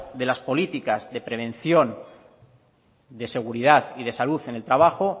de las políticas de prevención de seguridad y de salud en el trabajo